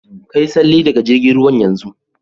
Ka Yi salle daga jirgin ruwan yanzun.